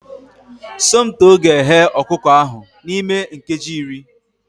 Somto ga-eghe ọkụkọ ahụ n'ime nkeji iri